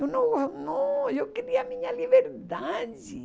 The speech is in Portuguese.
Eu não, não, eu queria a minha liberdade.